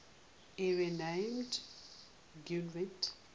area named gwent